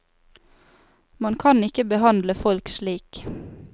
Man kan ikke behandle folk slik.